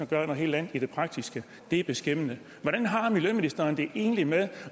gør noget helt andet i praksis det er beskæmmende hvordan har miljøministeren det egentlig med